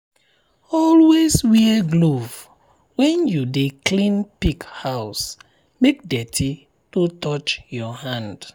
always wear glove when you dey clean pig house make dirty no touch your hand.